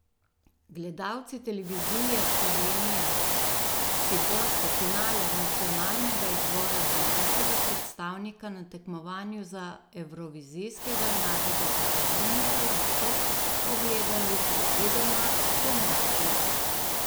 Gledalci Televizije Slovenija si boste finale nacionalnega izbora za našega predstavnika na tekmovanju za Evrovizijskega mladega glasbenika lahko ogledali predvidoma spomladi.